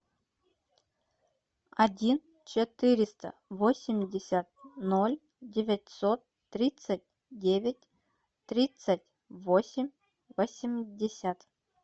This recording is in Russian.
один четыреста восемьдесят ноль девятьсот тридцать девять тридцать восемь восемьдесят